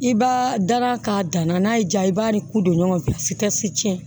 I b'a dara k'a dan na n'a y'i diya i b'a ni kun don ɲɔgɔn na a si ka se cɛn